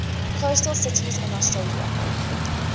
coastal cities in australia